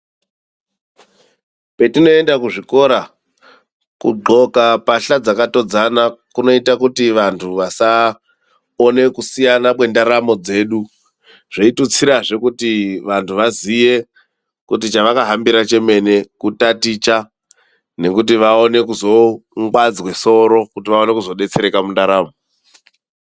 Petinoenda kuzvikora kudloka pahla dzakatodzana kunoite kuti vanhu vasaone kusiyana kwendaramo dzedu, zveitutsirazve kuti vantu vaziye kuti chavakahambira chemene kutaticha nekuti vaone kuzongwadzwe soro kuti vaone kuzodetsereka mundaramo.